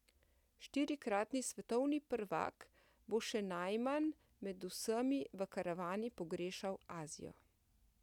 Štirikratni svetovni prvak bo še najmanj med vsemi v karavani pogrešal Azijo.